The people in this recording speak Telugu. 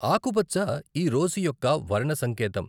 ఆకుపచ్చ ఈ రోజు యొక్క వర్ణ సంకేతం.